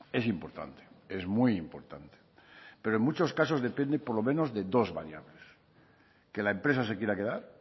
es importante es muy importante pero en muchos casos depende por los menos de dos variables que la empresa se quiera quedar